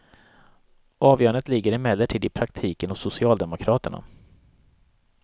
Avgörandet ligger emellertid i praktiken hos socialdemokraterna.